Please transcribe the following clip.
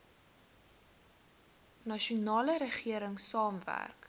nasionale regering saamwerk